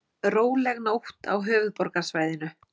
Róleg nótt á höfuðborgarsvæðinu